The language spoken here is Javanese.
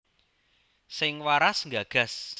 Sing waras nggagas